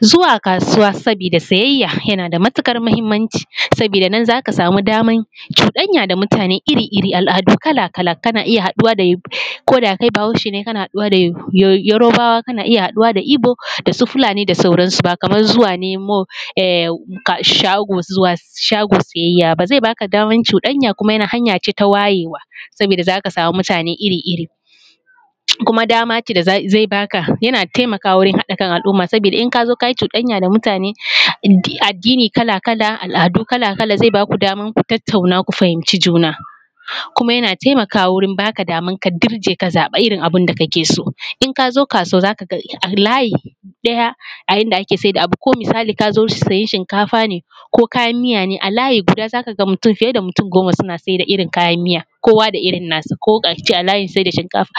Zuwa kasuwa saboda siyayya yana da matukar muhimmanci, saboda nan zaka samu damar cuɗanya da mutane iri-iri, al’adu kala-kala kana iya haɗuwa ko da kai bahaushe ne kana haɗuwa da yarbawa kana iya haɗuwa da ibo da su Fulani da sauran su, ba kamar zuwa nemo shago siyayya ba zai baka damar cuɗanya kuma hanya ce ta wayewa saboda zaka samu mutane iri-iri kuma dama ce da zai baka yana taimakawa wajen haɗa kan al’umma saboda in kazoo kayi cuɗanya da mutane, addini kala-kala, al’adu kala-kala zai baku damar ku tattauna ku fahimci juna kuma yana taimakwa gurin baka damar ka dirje ka zaɓa irin abin da kake so in kazo kasuwa zaka ga layi ɗaya a inda ake sayar da abu ko misali kazoo siyan shinkafa ne ko kayan biya ne a layi guda zaka ga fiye da mutum goma suna siyar da irin kayan miya kowa da irin nasa, kuma a layin siyar da shinkafa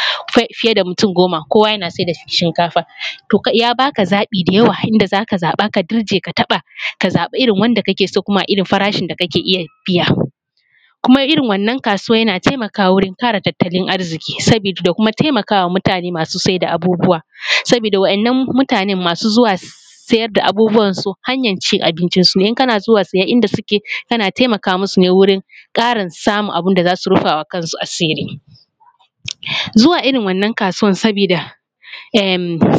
fiye da mutum goma kowa yana siyar da shinkafa to ya baka zaɓi da yawa inda zaka zaɓa ka dirje ka taɓa ka zaɓa irin wanda kake so kuma a irin farashin da kake iya biya kuma irin wannan kasuwan yana taimakawa wurin kara tattalin arziki saboda da kuma taimakawa mutane masu siyar da abubuwa saboda waɗannan mutane masu zuwa siyar da abubuwan su hanyar cin abincin sun ne in kana zuwa siya inda suke kana taimaka musu ne wurin Karin samun abun da zasu rufa ma kansu asiri, zuwa irin wannan kasuwan saboda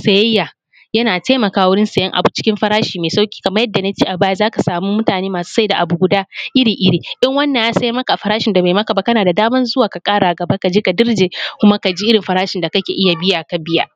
siyayya yana taimaka wurin siyan abu cikin farashi mai sauki kamar yadda nace a baya zaka samu mutane masu siyar da abu iri guda iri-iri in wannan ya siyar maka a farashin da bai maka ba kana da damar zuwa ka kara gaba kaje ka dirje kuma kaji irin farashi da kake iya biya ka biya.